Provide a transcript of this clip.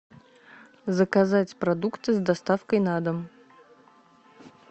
заказать продукты с доставкой на дом